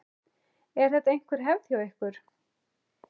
Er þetta einhver hefð hjá ykkur?